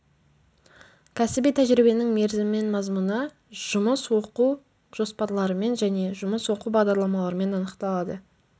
кәсіби тәжірибенің мерзімі мен мазмұны жұмыс оқу жоспарларымен және жұмыс оқу бағдарламаларымен анықталады